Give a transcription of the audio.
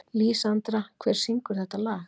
Lísandra, hver syngur þetta lag?